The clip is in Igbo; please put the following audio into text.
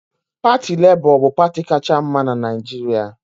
Parti Lebọ bu parti kacha mma n'Naijiria